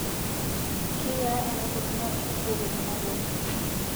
keyiaa eneikununo enkijiape tenairobi